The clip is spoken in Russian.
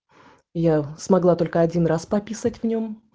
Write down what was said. я смогла только один раз пописать в нем